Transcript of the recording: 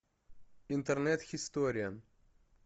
интернет хисториан